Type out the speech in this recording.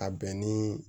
A bɛn ni